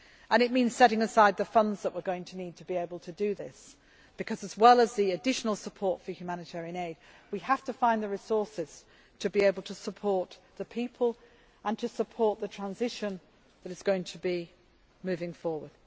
done now. It means setting aside the funds that we are going to need to be able to do this because, as well as the additional support for humanitarian aid, we have to find the resources to be able to support the people and to support the transition that is going to be moving